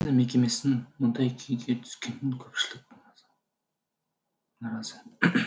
мекемесінің мұндай күйге түскеніне көпшілік наразы